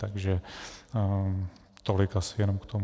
Takže tolik asi jenom k tomu.